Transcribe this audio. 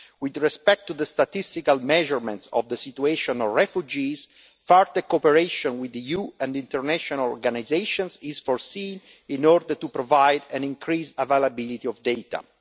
With respect to the statistical measurement of the situation of refugees, further cooperation with the EU and international organisations is foreseen in order to provide increased availability of data.